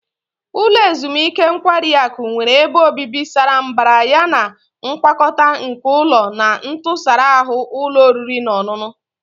Ulo ezimuike nkwari akụ nwere ebe obibi sara mbara yana ngwakọta nke ụlọ na ntụsara ahụ ụlọ oriri na ọṅụṅụ.